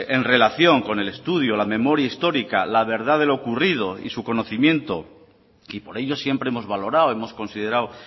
en relación con el estudio la memoria histórica la verdad de lo ocurrido y su conocimiento y por ello siempre hemos valorado hemos considerado